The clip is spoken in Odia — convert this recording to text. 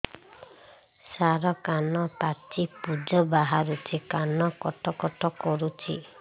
ସାର କାନ ପାଚି ପୂଜ ବାହାରୁଛି କାନ କଟ କଟ କରୁଛି